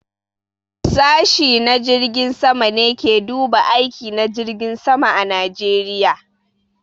Sashi na jirgin sama ne ke duba aiki na jirgin sama a Najeriya.